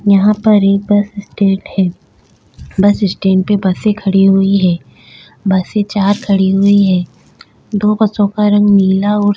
यहां पर यह बस स्टैंड है बस स्टैंड पे बसे एक खड़ी हुई है बसे चार खड़ी हुई है दो बसों का रंग नीला और --